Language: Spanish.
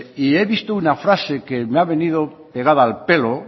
y he visto una frase que me ha venido pegada al pelo